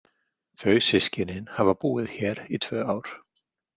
Þau systkinin hafa búið hér í tvö ár.